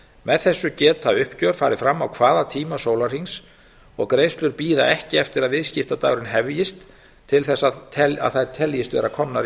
með þessu geta uppgjör farið fram á hvaða tíma sólarhrings og greiðslur bíða ekki eftir að viðskiptadagurinn hefjist til þess að þær teljist vera komnar